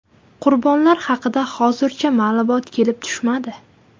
Qurbonlar haqida hozircha ma’lumot kelib tushmadi.